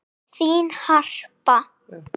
Þín, Harpa.